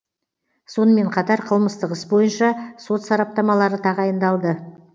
сонымен қатар қылмыстық іс бойынша сот сараптамалары тағайындалды